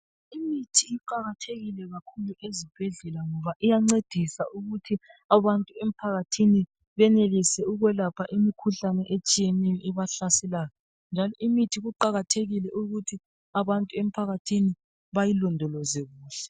Imithi iqakathekile kakhulu ezibhedlela ngoba iyancedisa ukuthi abantu emphakathini benelise ukwelapha imikhuhlane etshiyeneyo ebahlaselayo. Njalo imithi kuqakathekile ukuthi abantu emphakathini bayilondoloze kuhle.